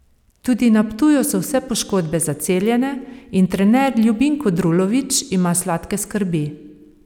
Tudi na Ptuju so vse poškodbe zaceljene in trener Ljubinko Drulovič ima sladke skrbi.